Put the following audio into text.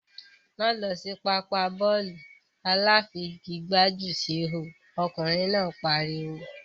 Máá lọ sí pápá bọ́ọ̀lù aláfigigbá jù síhò! ọkùnrin náà pariwo.